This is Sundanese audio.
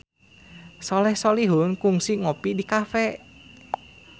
Soleh Solihun kungsi ngopi di cafe